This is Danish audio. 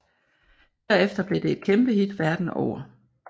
Derefter blev det et kæmpehit verden over